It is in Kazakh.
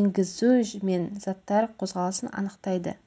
енгізу мен заттар қозғалысын анықтайды